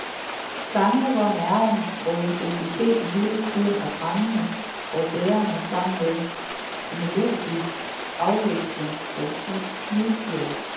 Sange, hvor nerven og intensiteten hele tiden er brændende og bærende sammen med melodisk afveksling og slidstyrke.